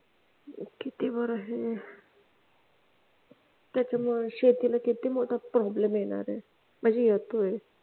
किती भरोशी त्यात शेतीला किती मोठा problem येणार आहे म्हणजे येतोय